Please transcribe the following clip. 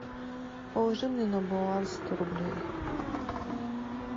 положи мне на баланс сто рублей